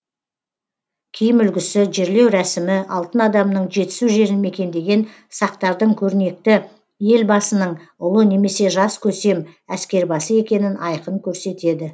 киім үлгісі жерлеу рәсімі алтын адамның жетісу жерін мекендеген сақтардың көрнекті елбасының ұлы немесе жас көсем әскербасы екенін айқын көрсетеді